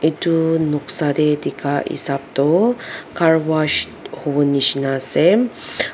Etu noksa dae dekha hesab toh car wash hovo neshina ase.